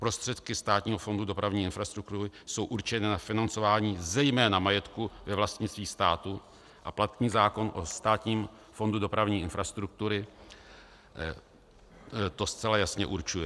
Prostředky Státního fondu dopravní infrastruktury jsou určeny na financování zejména majetku ve vlastnictví státu a platný zákon o Státním fondu dopravní infrastruktury to zcela jasně určuje.